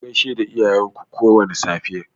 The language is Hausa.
Ku gaishe da iyayen ku kowane safe.